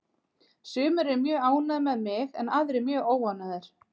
Sumir eru mjög ánægðir með mig en aðrir mjög óánægðir.